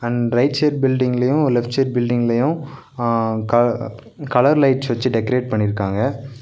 An right side பில்டிங்லயு left side பில்டிங்லயு ஆ க கலர் லைட்ஸ் வெச்சு டெக்ரேட் பண்ணிருக்காங்க.